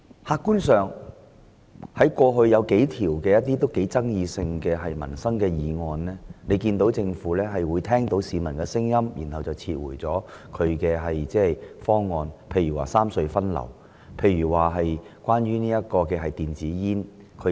客觀而言，政府過去曾提出多項具爭議性的民生議案，但在聆聽市民的聲音後撤回方案，例如三隧分流和規管電子煙等。